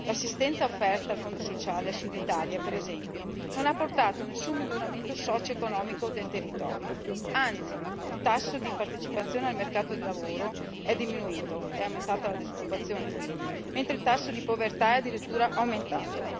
L'assistenza offerta dal Fondo sociale al Sud Italia, per esempio, non ha portato a nessun miglioramento socioeconomico del territorio, anzi, il tasso di partecipazione al mercato del lavoro è diminuito è aumentata la disoccupazione quindi mentre il tasso di povertà è addirittura aumentato.